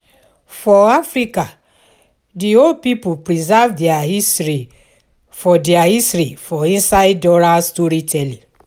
For Africa di old pipo preserve their history for their history for inside oral story telling